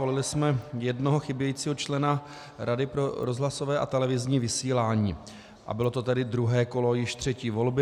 Volili jsme jednoho chybějícího člena Rady pro rozhlasové a televizní vysílání a bylo to tedy druhé kolo již třetí volby.